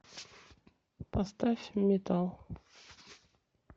поставь метал